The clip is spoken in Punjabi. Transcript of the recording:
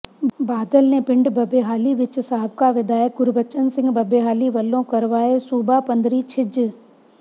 ਬਾਦਲ ਨੇ ਪਿੰਡ ਬੱਬੇਹਾਲੀ ਵਿਚ ਸਾਬਕਾ ਵਿਧਾਇਕ ਗੁਰਬਚਨ ਸਿੰਘ ਬੱਬੇਹਾਲੀ ਵੱਲੋਂ ਕਰਵਾਏ ਸੂਬਾ ਪੱਧਰੀ ਛਿੰਝ